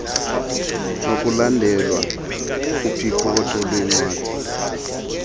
nokulandelwa kophicotho lwencwadi